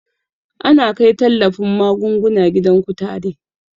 Ana kai tallafin magunguna gidan kutare